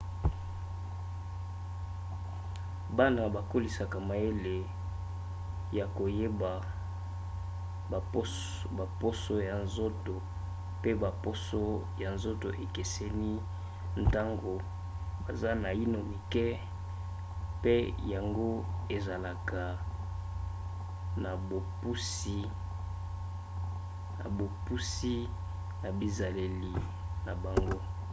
bana bakolisaka mayele ya koyeba baposo ya nzoto pe baposo ya nzoto ekeseni ntango baza naino mike pe yango ezalaka na bopusi na bizaleli na bango